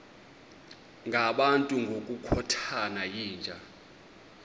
ngabantu ngokukhothana yinja